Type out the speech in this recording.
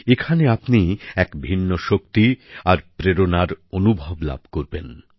এখানে আপনি এক ভিন্ন শক্তি আর প্রেরণার অনুভব লাভ করবেন